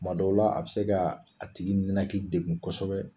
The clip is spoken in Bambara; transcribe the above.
Tuma dɔw la , a bɛ se k'a tigi ninnaki degun kosɛbɛ.